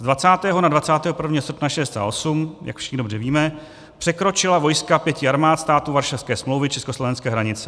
Z 20. na 21. srpna 1968, jak všichni dobře víme, překročila vojska pěti armád států Varšavské smlouvy československé hranice.